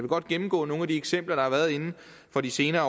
godt gennemgå nogle af de eksempler der har været inden for de senere